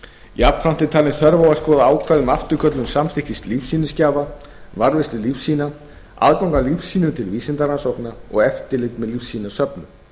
jafnframt er talin þörf á að skoða ákvæði um afturköllun samþykkis lífsýnisgjafa varðveislu lífsýna aðgang að lífsýnum til vísindarannsókna og eftirlit með lífsýnasöfnum